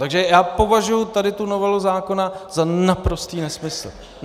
Takže já považuji tady tu novelu zákona za naprostý nesmysl.